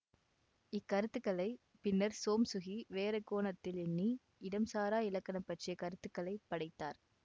இக்கருத்துக்களைப் பின்னர் சோம்சுகி வேறுகோணத்தில் எண்ணி இடம்சாரா இலக்கணம் பற்றிய கருத்துக்களைப் படைத்தார்